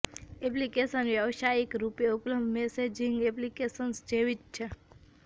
application વ્યવસાયિક રૂપે ઉપલબ્ધ મેસેજિંગ એપ્લિકેશન્સ જેવી જ છે